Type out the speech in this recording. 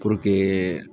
Puruke